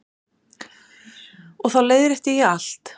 Og þá leiðrétti ég allt.